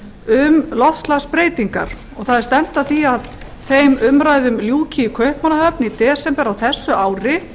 um loftslagsbreytingar og það er stefnt er að því að þeim umræðum ljúki í kaupmannahöfn í desember á þessu ári